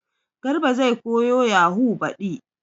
Garba zai koyo yahu baɗi